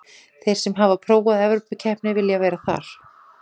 Þeir sem hafa prófað evrópukeppni vilja vera þar.